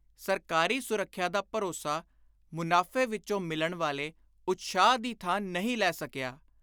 ਸਰਕਾਰੀ ਸੁਰੱਖਿਆ ਦਾ ਭਰੋਸਾ ਮੁਨਾਫ਼ੇ ਵਿਚੋਂ ਮਿਲਣ ਵਾਲੇ ਉਤਸ਼ਾਹ ਦੀ ਥਾਂ ਨਹੀਂ ਲੈ ਸਕਿਆ।